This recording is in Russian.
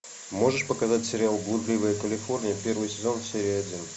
можешь показать сериал блудливая калифорния первый сезон серия один